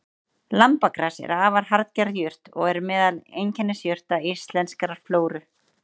Lambagras er afar harðger jurt og er meðal einkennisjurta íslenskrar flóru.